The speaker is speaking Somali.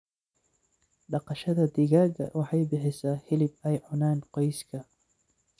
Dhaqashada digaaga waxay bixisaa hilib ay cunaan qoyska.